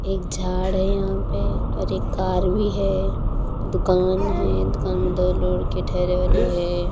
एक झाड है यहां पे और एक कार भी है दुकान है दुकान में दो लड़के ठहरे हुए हैं।